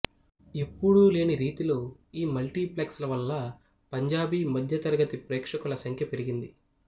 ఎప్పుడూ లేని రీతిలో ఈ మల్టీప్లక్స్ ల వల్లా పంజాబీ మధ్యతరగతి ప్రేక్షకుల సంఖ్య పెరిగింది